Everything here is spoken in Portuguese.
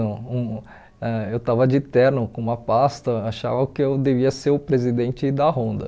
não hum ãh. Eu estava de terno com uma pasta, achavam que eu devia ser o presidente da Honda.